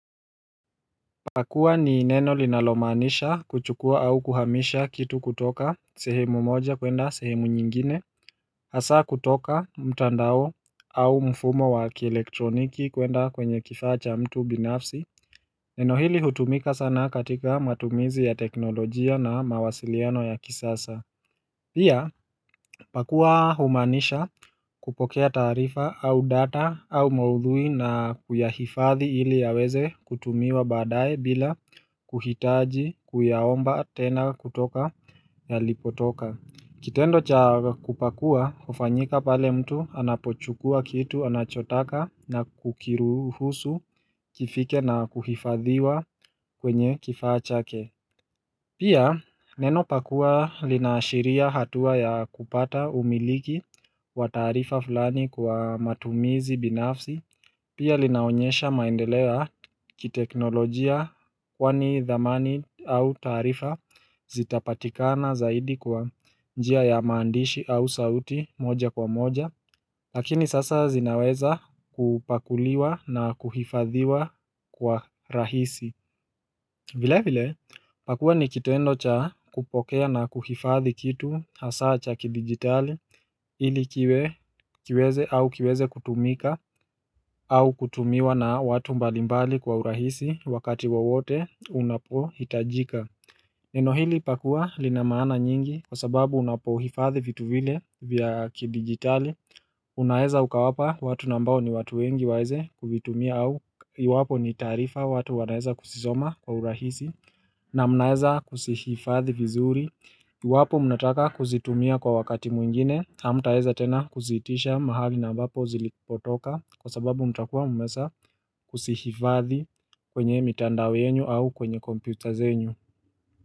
Pakua ni neno linalomaanisha kuchukua au kuhamisha kitu kutoka sehemu moja kuenda sehemu nyingine Hasaa kutoka mtandao au mfumo wa kielektroniki kwenda kwenye kifaa cha mtu binafsi Neno hili hutumika sana katika matumizi ya teknolojia na mawasiliano ya kisasa Pia, pakua humaanisha kupokea taarifa au data au maudhui na kuyahifadhi ili yaweze kutumiwa baadaye bila kuhitaji kuyaomba tena kutoka yalipotoka. Kitendo cha kupakua, hufanyika pale mtu anapochukua kitu anachotaka na kukiruhusu kifike na kuhifadhiwa kwenye kifaa chake. Pia, neno pakua linaashiria hatua ya kupata umiliki wa taarifa fulani kwa matumizi binafsi, pia linaonyesha maendeleo ya kiteknolojia kwani dhamani au taarifa zitapatikana zaidi kwa njia ya maandishi au sauti moja kwa moja, lakini sasa zinaweza kupakuliwa na kuhifadhiwa kwa rahisi. Vile vile pakua ni kitendo cha kupokea na kuhifadhi kitu hasaa cha kijigitali ili kiweze au kiweze kutumika au kutumiwa na watu mbalimbali kwa urahisi wakati wowote unapohitajika Neno hili pakua lina maana nyingi kwa sababu unapohifadhi vitu vile vya kijigitali Unaweza ukawapa watu na ambao ni watu wengi waweze kuvitumia au iwapo ni taarifa watu wanaeza kuzisoma kwa urahisi Naam, naweza kuzihifadhi vizuri Iwapo mnataka kuzitumia kwa wakati mwingine hamtaweza tena kuziitisha mahali na ambapo zilipotoka kwa sababu mtakuwa mmeshakuzihifadhi kwenye mitandao yenu au kwenye kompyuta zenu.